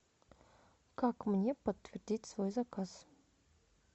как мне подтвердить свой заказ